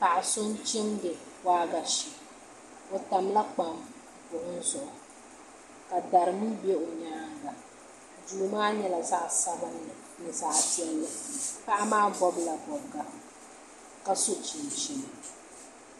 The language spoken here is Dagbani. Paɣa so n chimdi waagashe o tamla kpam buɣum zuɣu ka dari mii bɛ o nyaanga duu maa nyɛla zaɣ sabinli ni zaɣ piɛlli paɣa maa bobla bobga ka so chinchini